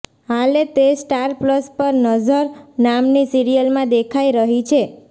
હાલે તે star plus પર નઝર નામની સિરીયલમાં દેખાઈ રહી છે